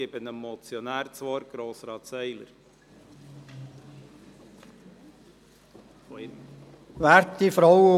Ich erteile dem Motionär, Grossrat Seiler, das Wort.